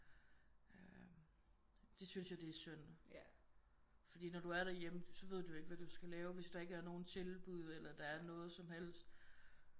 Øh det synes jeg det er synd fordi når du er derhjemme så ved du jo ikke hvad du skal lave hvis der ikke er nogen tilbud eller der er noget som helst